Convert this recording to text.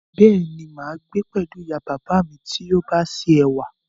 Béèni, máa gbé pẹ̀lú ìyá bàbá à mí ti yóò bá ṣe ẹ̀wà